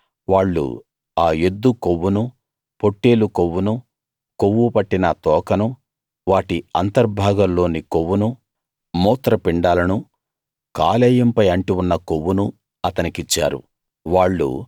అయితే వాళ్ళు ఆ ఎద్దు కొవ్వునూ పొట్టేలు కొవ్వునూ కొవ్వుపట్టిన తోకనూ వాటి అంతర్భాగాల్లోని కొవ్వునూ మూత్రపిండాలనూ కాలేయం పై అంటి ఉన్న కొవ్వునూ అతని కిచ్చారు